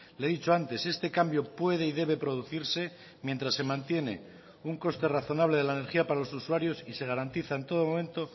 le he dicho antes este cambio puede y debe producirse mientras se mantiene un coste razonable de la energía para los usuarios y se garantiza en todo momento